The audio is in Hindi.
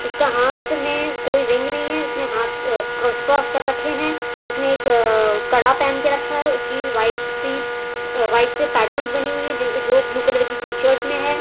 उसका हाथ में कोई रिंग नहीं है उसने हाथ क्रॉस क्रॉस कर रखे है उसने एक अ कड़ा पहन के रखा है उसकी वाइट सी व्हाइट से पैटर्न बनी हुई है जिस जो ब्लू कलर की टी शर्ट में है।